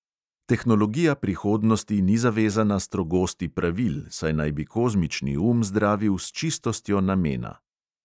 Tehnologija prihodnosti ni zavezana strogosti pravil, saj naj bi kozmični um zdravil s čistostjo namena.